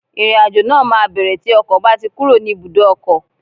Ìrìn àjò náà máa bẹ̀rẹ̀ tí ọkọ̀ bá ti kúrò ní ibùdó ọkọ̀